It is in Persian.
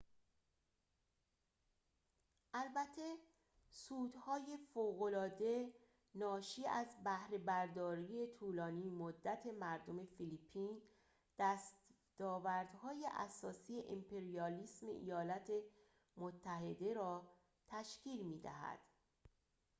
البته سودهای فوق العاده ناشی از بهره برداری طولانی مدت مردم فیلیپین دستاوردهای اساسی امپریالیسم ایالات متحده را تشکیل می دهد